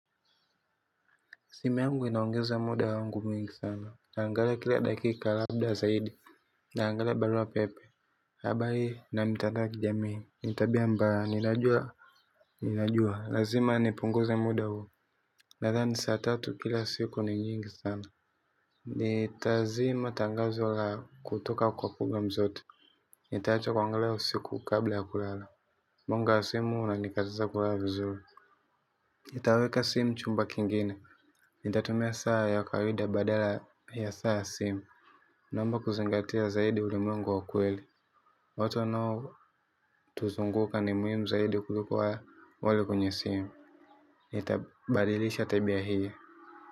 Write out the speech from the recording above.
Simu yangu inaongeza muda wangu mwingi sana naangalia kila dakika labda zaidi naangalia barua pepe habari na mitandao ya kijamii ni tabia mbaya ninajua ninajua lazima nipunguze muda huu nathani saa tatu kila siku ni nyingi sana nitazima tangazo lao kutoka kwa program zote nitaacha kuangalia usiku kabla ya kulala mwanga wa simu unanikataza kulala vizuri nitaweka sim chumba kingine. Nitatumia saa ya kawaida badala ya saa simu. Naomba kuzingatia zaidi ulimwengu wa ukweli Oto nao tuzunguka ni muhimu zaidi kuliko walio kwenye simu. Nitabadilisha tabia hii.